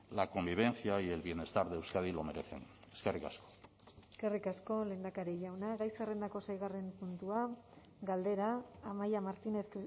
la convivencia y el bienestar de euskadi lo merecen eskerrik asko eskerrik asko lehendakari jauna gai zerrendako seigarren puntua galdera amaia martínez